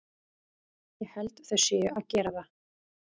Ég held þau séu að gera það.